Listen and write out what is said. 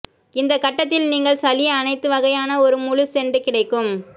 இந்த கட்டத்தில் நீங்கள் சளி அனைத்து வகையான ஒரு முழு செண்டு கிடைக்கும்